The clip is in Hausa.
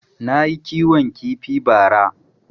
Nayi kiwon kifi ba ra